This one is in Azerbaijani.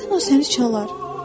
Birdən o səni çalar.